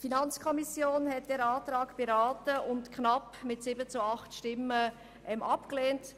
Die FiKo hat diesen Antrag mit 7 zu 8 Stimmen knapp abgelehnt.